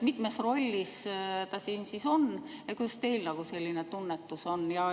Mitmes rollis ta siin on, kuidas teie tunnetus on?